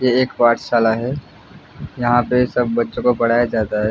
ये एक पाठशाला है जहां पे सब बच्चों को पढ़ाया जाता हैं।